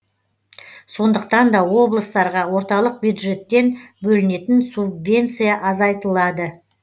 сондықтан да облыстарға орталық бюджеттен бөлінетін субвенция азайтылады